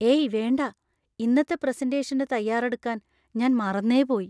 ഏയ് വേണ്ട! ഇന്നത്തെ പ്രസന്‍റേഷന് തയ്യാറെടുക്കാൻ ഞാൻ മറന്നേ പോയി .